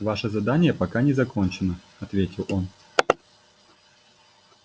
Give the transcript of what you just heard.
ваше задание пока не закончено ответил он